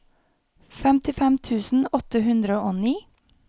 femtifem tusen åtte hundre og ni